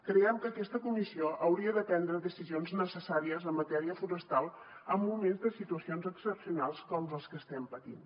creiem que aquesta comissió hauria de prendre decisions necessàries en matèria forestal en moments de situacions excepcionals com les que estem patint